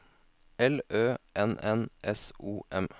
L Ø N N S O M